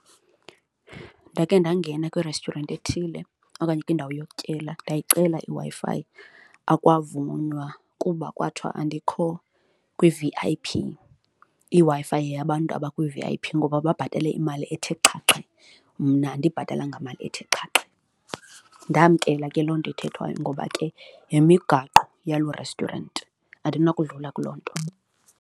Ndakhe ndangena kwi-restaurant ethile okanye kwindawo yokutyela ndiyayicela iWi-Fi, akwavunywa kuba kwathiwa andikho kwi-V_I_P, iWi-Fi yeyabantu abakwi-V_I_P ngoba babhatale imali ethe xhaxhe mna andibhatalanga mali ethe xhaxhe. Ndamkela ke loo nto ethethwayo ngoba ke yimigaqo yaloo restaurant, andinakudlala kuloo nto.